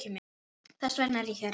Þess vegna er ég hérna.